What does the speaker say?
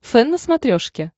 фэн на смотрешке